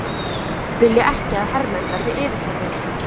Vilja ekki að hermenn verði yfirheyrðir